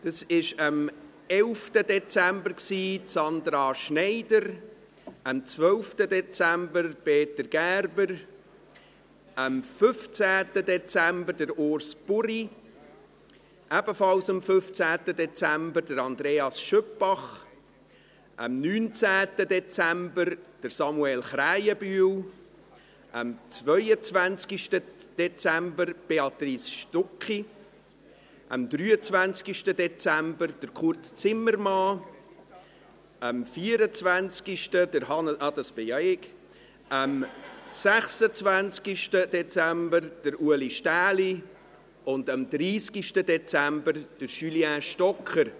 Es waren dies am 11. Dezember Sandra Schneider, am 12. Dezember Peter Gerber, am 15. Dezember Urs Buri, ebenfalls am 15. Dezember Andreas Schüpbach, am 19. Dezember Samuel Krähenbühl, am 22. Dezember Béatrice Stucki, am 23. Dezember Kurt Zimmermann, am 24. Hannes – ach, das bin ja ich –, am 26. Dezember Ulrich Stähli und am 30. Dezember Julien Stocker.